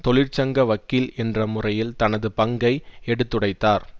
தொழிற்சங்க வக்கீல் என்ற முறையில் தனது பங்கை எடுத்துரைத்தார்